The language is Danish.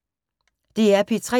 DR P3